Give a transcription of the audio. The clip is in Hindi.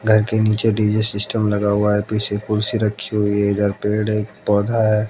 घर के नीचे डी_जे सिस्टम लगा हुआ है पीछे कुर्सी रखी हुई है इधर पेड़ एक पौधा है।